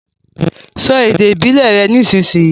So èdè ìbílè rẹ nísìsiyìí!